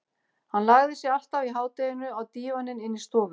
Hann lagði sig alltaf í hádeginu á dívaninn inni í stofu.